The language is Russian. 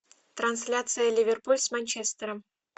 трансляция ливерпуль с манчестером